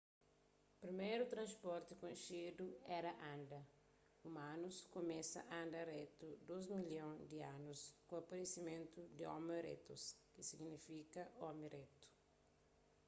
priméru transporti konxedu éra anda umanus kumesa anda retu dôs milhon di anus ku aparesimentu di homo erectus ki signifika omi retu